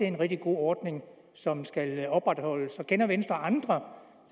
en rigtig god ordning som skal opretholdes og kender venstre andre